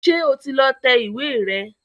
Ṣé o ti lọ tẹ ìwé rẹ̀